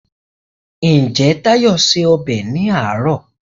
Ǹjẹ́ Táyé se ọbẹ̀ ní àárọ̀?